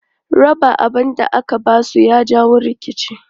Raba abun da aka ba su ya jawo rikici.